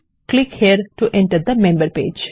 click here to enter the member page